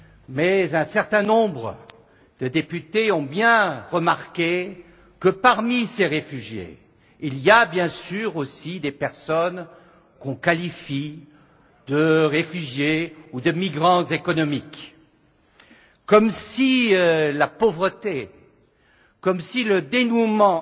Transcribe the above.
Mais un certain nombre de députés ont bien remarqué que parmi ces réfugiés, il y a bien sûr aussi des personnes qu'on qualifie de réfugiés ou de migrants économiques, comme si la pauvreté, comme si le dénuement